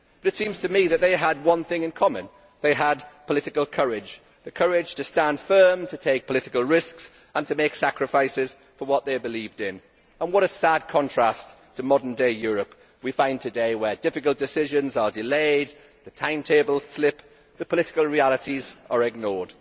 It seems to me that they had one thing in common they had political courage, the courage to stand firm, to take political risks and to make sacrifices for what they believed in. What a sad contrast to the modern day Europe of today, where difficult decisions are delayed, timetables slip, and political realities are ignored.